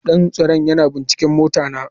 Dan tsaron yana binciken motara.